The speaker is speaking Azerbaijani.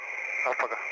Hə, paqa.